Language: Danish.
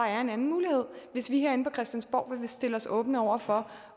er en anden mulighed hvis vi herinde på christiansborg vil stille os åbne over for